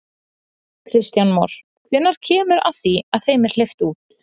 Kristján Már: Hvenær kemur að því að þeim er hleypt út?